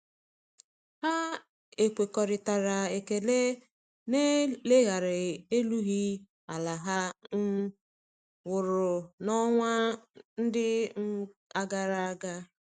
Ha ekwekoritara ekele na eleghara erughi ala ha um wụrụ na-onwa ndi um agaraga.